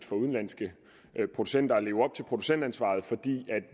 for udenlandske producenter at leve op til producentansvaret for